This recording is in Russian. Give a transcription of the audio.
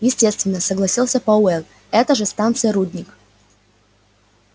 естественно согласился пауэлл это же станция-рудник